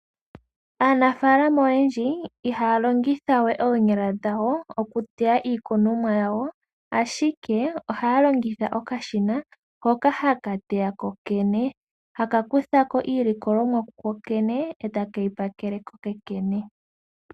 Aanafaalama oyendji ihaya longithawe oonyala dhawo oku teya iikunomwa yawo, ashike ohaya longitha oka shina hoka haka teya kokene, haka kuthako iilikulomwa kokene etake yi pakele kokene.